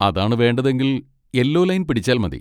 അതാണ് വേണ്ടതെങ്കിൽ, yellow line പിടിച്ചാൽ മതി.